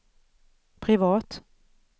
privat